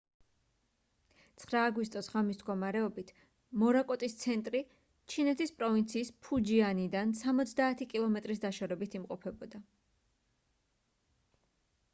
9 აგვისტოს ღამის მდგომარეობით მორაკოტის ცენტრი ჩინეთის პროვინციის ფუჯიანიდან სამოცდაათი კილომეტრის დაშორებით იმყოფებოდა